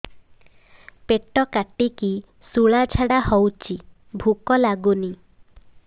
ପେଟ କାଟିକି ଶୂଳା ଝାଡ଼ା ହଉଚି ଭୁକ ଲାଗୁନି